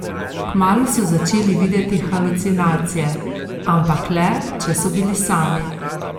Kmalu so začeli videti halucinacije, ampak le, če so bili sami.